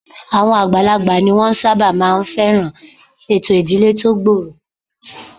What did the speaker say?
Àwọn àgbàlagbà ni wọ́n máa ń sábà fẹ́ràn ètò ìdílé tó gbòòrò